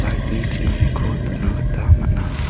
light-ni ching·aniko nikna gita man·a.